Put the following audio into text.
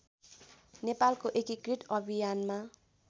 नेपालको एकीकृत अभियानमा